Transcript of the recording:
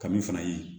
Kami fana ye